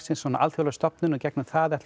svona alþjóðleg stofnun í gegnum það ætlum